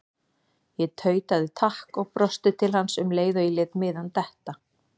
Ég tautaði takk og brosti til hans um leið og ég lét miðann detta.